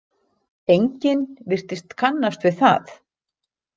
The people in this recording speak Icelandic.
Enginn virtist kannast við það.